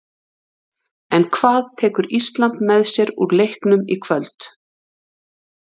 En hvað tekur Ísland með sér úr leiknum í kvöld?